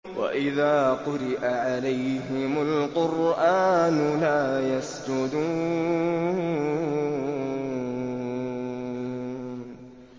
وَإِذَا قُرِئَ عَلَيْهِمُ الْقُرْآنُ لَا يَسْجُدُونَ ۩